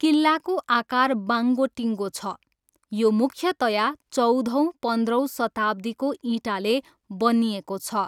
किल्लाको आकार बाङ्गोटिङ्गो छ, यो मुख्यतया चौधौँ पन्ध्रौँ शताब्दीको इँटाले बनिएको छ।